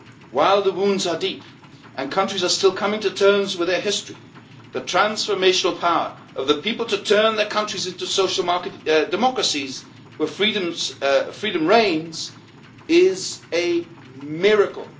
While the wounds are deep and countries are still coming to terms with their history, the transformational power of the people to turn their countries into social market democracies where freedom reigns is a miracle.